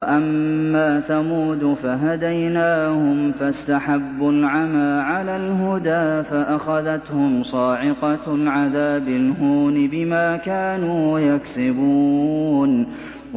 وَأَمَّا ثَمُودُ فَهَدَيْنَاهُمْ فَاسْتَحَبُّوا الْعَمَىٰ عَلَى الْهُدَىٰ فَأَخَذَتْهُمْ صَاعِقَةُ الْعَذَابِ الْهُونِ بِمَا كَانُوا يَكْسِبُونَ